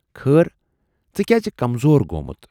خٲر! ژٕ کیازِ کمزور گومُت۔